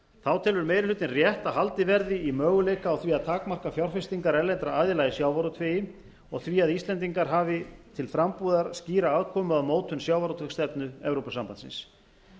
þá telur meiri hlutinn rétt að haldið verði í möguleika á því að takmarka fjárfestingar erlendra aðila í sjávarútvegi og því að íslendingar hafi til frambúðar skýra aðkomu að mótun sjávarútvegsstefnu evrópusambandsins